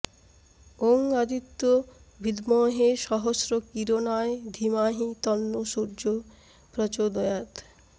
ওং আদিত্য ভিদ্মহে সহস্র কিরণায় ধিমাহি তন্নো সূর্য প্রচোদয়াৎ